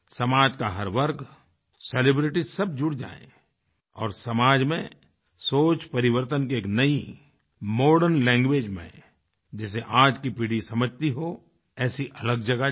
समाज का हर वर्ग सेलिब्रिटीज सब जुड़ जाएँ और समाज में सोचपरिवर्तन की एक नयी मॉडर्न लैंग्वेज में जिसे आज की पीढ़ी समझती हो ऐसी अलख जगा जाये